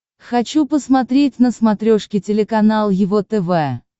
хочу посмотреть на смотрешке телеканал его тв